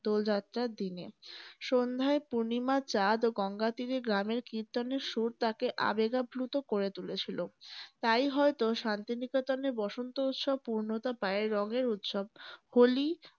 দোল যাত্রার দিনে সন্ধ্যায় পূর্ণিমার চাঁদও গঙ্গার তীরে গ্রামের কির্তনের সুর তাকে আবেগ আপ্লুত করে তুলেছিল । তাই হয়ত শান্তি নিকেতনে বসন্ত উৎসব পূর্ণতা পায় রঙের উৎসব হোলি